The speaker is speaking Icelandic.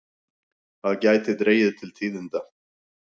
Það gæti dregið til tíðinda.